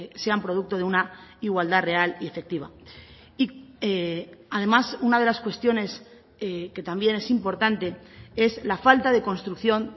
sean producto de una igualdad real y efectiva y además una de las cuestiones que también es importante es la falta de construcción